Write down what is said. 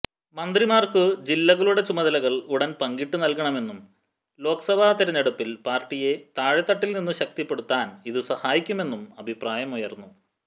മന്ത്രിമാർക്കു ജില്ലകളുടെ ചുമതലകൾ ഉടൻ പങ്കിട്ടു നൽകണമെന്നും ലോക്സഭാ തിരഞ്ഞെടുപ്പിൽ പാർട്ടിയെ താഴെത്തട്ടിൽ നിന്നു ശക്തിപ്പെടുത്താൻ ഇതു സഹായിക്കുമെന്നും അഭിപ്രായമുയർന്നു